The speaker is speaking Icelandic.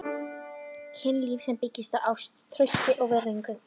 KYNLÍF- sem byggist á ást, trausti og virðingu.